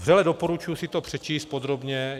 Vřele doporučuji si to přečíst podrobně.